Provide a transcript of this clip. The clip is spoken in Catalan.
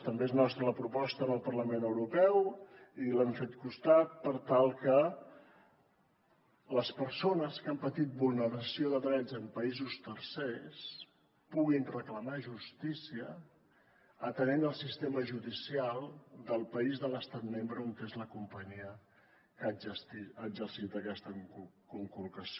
també es nostra la proposta al parlament europeu i hi hem fet costat per tal que les persones que han patit vulneració de drets en països tercers puguin reclamar justícia atenent el sistema judicial del país de l’estat membre on és la companyia que ha exercit aquesta conculcació